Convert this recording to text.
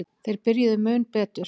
Þeir byrjuðu mun betur.